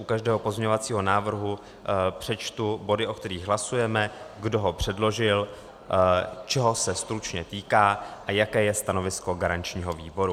U každého pozměňovacího návrhu přečtu body, o kterých hlasujeme, kdo ho předložil, čeho se stručně týká a jaké je stanovisko garančního výboru.